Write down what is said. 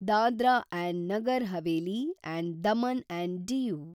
Dadra and Nagar Haveli and Daman and DU